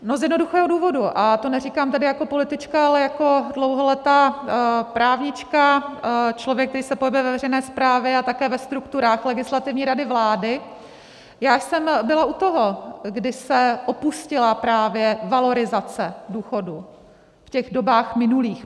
No z jednoduchého důvodu, a to neříkám tedy jako politička, ale jako dlouholetá právnička, člověk, který se pohybuje ve veřejné správě a také ve strukturách Legislativní rady vlády, já jsem byla u toho, kdy se opustila právě valorizace důchodů v těch dobách minulých.